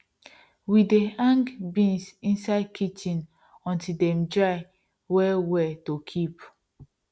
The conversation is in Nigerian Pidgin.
we dey hang beans inside kitchen until dem dry well well to kip